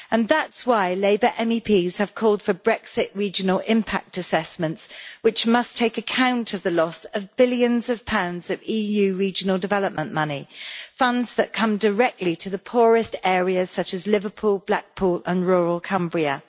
That is why Labour MEPs have called for Brexit regional impact assessments, which must take account of the loss of billions of pounds of EU regional development money, funds that come directly to the poorest areas such as Liverpool, Blackpool and rural Cumbria.